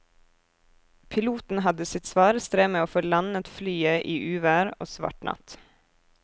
Piloten hadde sitt svare strev med å få landet flyet i uvær og svart natt.